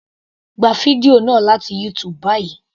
Gba fídíò náà láti YouTube báyìí.